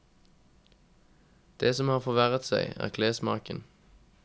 Det som har forverret seg, er klessmaken.